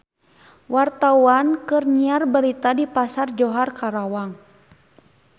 Wartawan keur nyiar berita di Pasar Johar Karawang